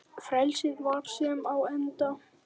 Frelsið var senn á enda.